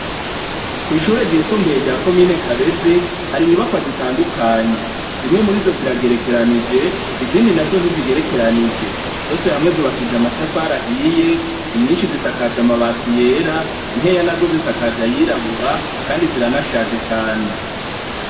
Kw'ishure ryisumbuye rya komine kabezi hari inyubakwa zitandukanye zimwe murizo ziragerekeranije izindi nazo ntizigerekeranije . Zose hamwe zubakishije amatafari ahiye, nyinshi zisakaje amabati yera nkeya nazo zisakaje ayirabura Kandi ziranashaje cane .